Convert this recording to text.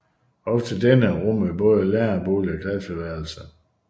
Også denne rummede både lærerbolig og klasseværelse